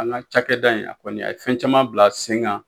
An ka cakɛ da in a kɔni a ye fɛn caman bila sen kan.